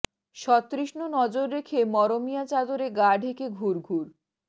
সতৃষ্ণ নজর রেখে মরমিয়া চাদরে গা ঢেকে ঘুর ঘুর